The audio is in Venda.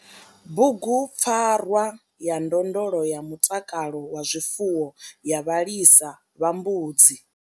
Bugupfarwa ya ndondolo ya mutakalo wa zwifuwo ya vhalisa vha mbudzi.